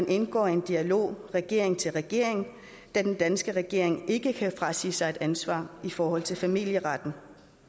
indgå i en dialog regering til regering da den danske regering ikke kan frasige sig et ansvar i forhold til familieretten